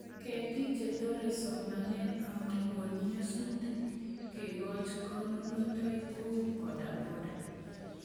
Ketik che torei somanet amakon nyasutik kekoch konunotoik kou bodaboda